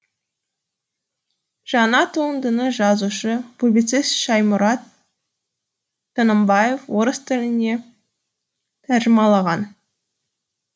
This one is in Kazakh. жаңа туындыны жазушы публицист шаймұрат тынымбаев орыс тіліне тәржімалаған